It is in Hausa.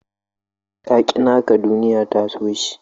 Ka ƙi naka duniya ta so shi.